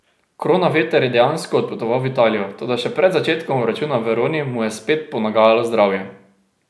Kronaveter je dejansko odpotoval v Italijo, toda še pred začetkom obračuna v Veroni mu je spet ponagajalo zdravje.